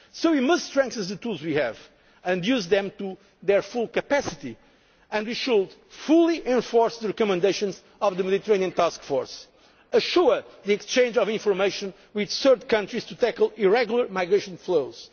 pressures. We must strengthen the tools we have and use them to their full capacity we should fully enforce the recommendations of the Mediterranean Task Force assure the exchange of information with third countries to tackle irregular migration